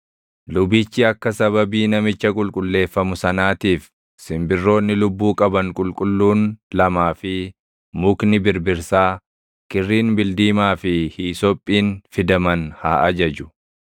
lubichi akka sababii namicha qulqulleeffamu sanaatiif simbirroonni lubbuu qaban qulqulluun lamaa fi mukni birbirsaa, kirriin bildiimaa fi hiisophiin fidaman haa ajaju.